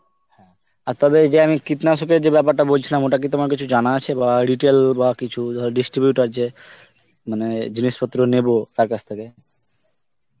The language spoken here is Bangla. আর তবে যে আমি যে কীটনাশকের যে ব্যাপারটা বলছিলাম ওটা কি তোমার কিছু জানা আছে বা retail বা কিছু ধর distributer যে, মে জিনিস পত্র নেব তার কাছ থেকে